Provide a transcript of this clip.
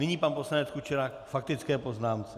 Nyní pan poslanec Kučera k faktické poznámce.